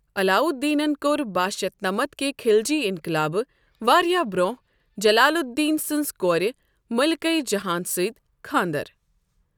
علاؤ الدینن كو٘ر بہہ شتھ نمتھ کہ خلجی انقلابہٕ واریاہ برونٛہہ جلال الدین سنٛز کورِ مٔلکہ جہاں سۭتۍ خانٛدر۔